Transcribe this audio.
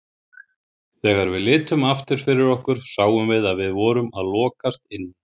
Þegar við litum aftur fyrir okkur sáum við að við vorum að lokast inni.